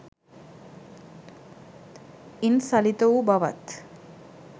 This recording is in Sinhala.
ඉන් සලිත වූ බවත්,